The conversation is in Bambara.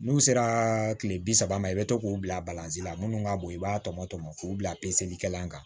N'u sera tile bi saba ma i bɛ to k'o bila la minnu ka bon i b'a tɔmɔ tɔmɔ k'u bila peselikɛla kan